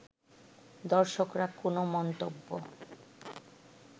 দর্শকরা কোনো মন্তব্য